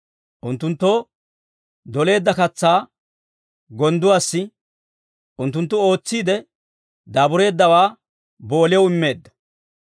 Unttunttoo doleedda katsaa gonddoo, unttunttu ootsiide daabureeddawaa booliyaw immeedda.